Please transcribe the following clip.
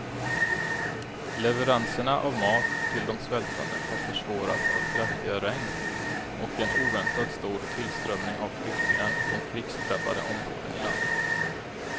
Leveranserna av mat till de svältande har försvårats av kraftiga regn och en oväntat stor tillströmning av flyktingar från krigsdrabbade områden i landet.